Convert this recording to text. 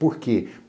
Por quê?